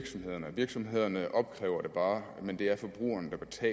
ydelserne drager men det er at